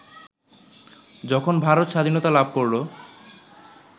যখন ভারত স্বাধীনতা লাভ করলো